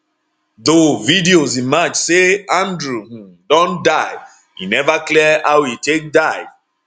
though videos emerge say andrew um don die e neva clear how e take die